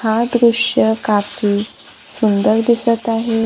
हा दृश्य काफी सुंदर दिसत आहे.